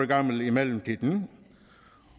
gammel i mellemtiden